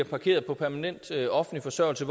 parkeret på permanent offentlig forsørgelse